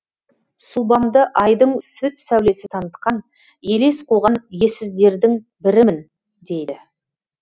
сұлбамды айдың сүт сәулесі танытқан елес қуған ессіздердің бірімін дейді